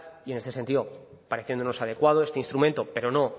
y en este sentido pareciéndonos adecuado este instrumento pero no